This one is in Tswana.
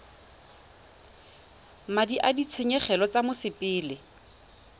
madi a ditshenyegelo tsa mosepele